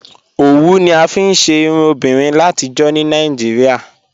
Ọwù ni a fíí ṣè irùn obìnrin làtíjọ̀ ní Nàìjíríà